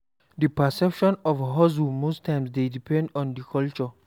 Di perception of hustle most times dey depend on di culture